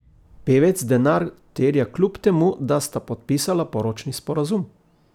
Pevec denar terja kljub temu, da sta podpisala poročni sporazum.